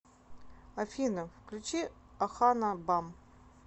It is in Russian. афина включи охана бам